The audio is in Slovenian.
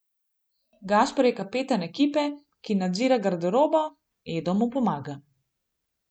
Gašper je kapetan ekipe, ki nadzira garderobo, Edo mu pomaga.